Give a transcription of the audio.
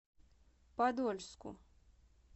подольску